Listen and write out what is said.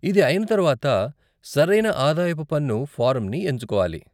ఇది అయిన తరువాత, సరైన ఆదాయపు పన్ను ఫారంని ఎంచుకోవాలి.